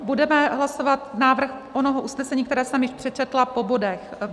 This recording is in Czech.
Budeme hlasovat návrh onoho usnesení, které jsem již přečetla, po bodech.